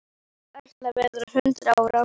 Ég ætla að verða hundrað ára.